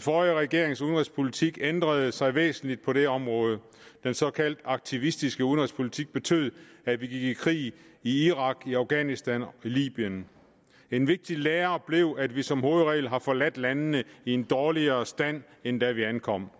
forrige regerings udenrigspolitik ændrede sig væsentligt på det område den såkaldte aktivistiske udenrigspolitik betød at vi gik i krig i irak i afghanistan og i libyen en vigtig lære blev at vi som hovedregel har forladt landene i en dårligere stand end da vi ankom